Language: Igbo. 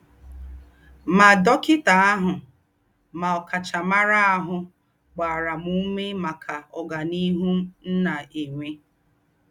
Mà dọ́kità àhù mà ọ̀káchámárà àhù gbárá m úmé máká ọ́gàníhù m nà-ènwé.